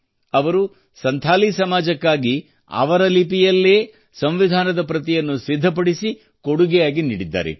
ಹೀಗಾಗಿ ಅವರು ಸಂಥಾಲಿ ಸಮಾಜಕ್ಕಾಗಿ ಅವರ ಲಿಪಿಯಲ್ಲೇ ಸಂವಿಧಾನದ ಪ್ರತಿಯನ್ನು ಸಿದ್ಧಪಡಿಸಿ ಕೊಡುಗೆಯಾಗಿ ನೀಡಿದ್ದಾರೆ